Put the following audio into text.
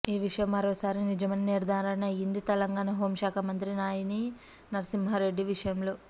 ఈ విషయం మరోసారి నిజమని నిర్ధారణ అయ్యింది తెలంగాణ హోమ్ శాఖ మంత్రి నాయిని నరసింహారెడ్డి విషయంలో